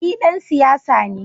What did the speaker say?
Ni dan siyasa ne